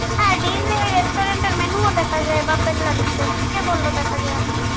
restaurant এর menu ও দেখা যায় কে বললো দেখা যায় না।